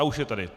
A už je tady.